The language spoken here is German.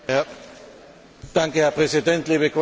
Herr Präsident, liebe Kolleginnen, liebe Kollegen!